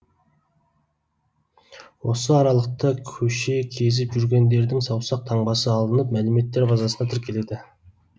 осы аралықта көше кезіп жүргендердің саусақ таңбасы алынып мәліметтер базасына тіркеледі